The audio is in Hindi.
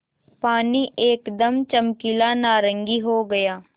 पानी एकदम चमकीला नारंगी हो गया